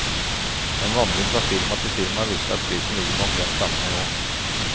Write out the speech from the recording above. En vandring fra firma til firma viser at prisen ligger på omtrent samme nivå.